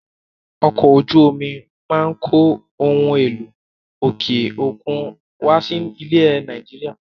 Ọkọ̀ ojú omi máa ń kó ohun èlò òkè òkun wá sí ilẹ̀ Nàìjíríà.